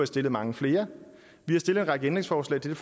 stillet mange flere vi har stillet en række ændringsforslag til